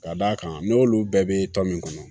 Ka d'a kan n'olu bɛɛ bɛ tɔ min kɔnɔ